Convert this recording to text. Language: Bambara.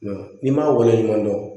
N'i m'a waleɲuman dɔn